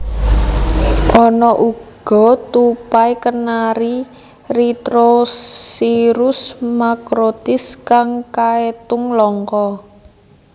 Ana uga tupai kenari Rheithrosciurus macrotis kang kaetung langka